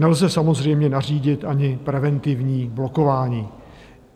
Nelze samozřejmě nařídit ani preventivní blokování.